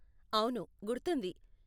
అవును, గుర్తుంది.